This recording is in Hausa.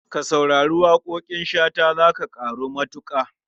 Ka saurari waƙoƙin Shata za ka ƙaru matuƙa.